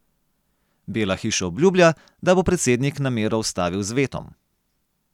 Bela hiša obljublja, da bo predsednik namero ustavil z vetom.